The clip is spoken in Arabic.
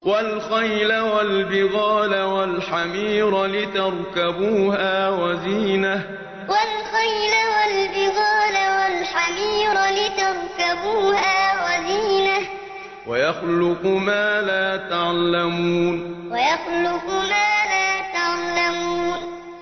وَالْخَيْلَ وَالْبِغَالَ وَالْحَمِيرَ لِتَرْكَبُوهَا وَزِينَةً ۚ وَيَخْلُقُ مَا لَا تَعْلَمُونَ وَالْخَيْلَ وَالْبِغَالَ وَالْحَمِيرَ لِتَرْكَبُوهَا وَزِينَةً ۚ وَيَخْلُقُ مَا لَا تَعْلَمُونَ